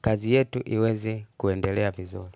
kazi yetu iweze kuendelea vizuru.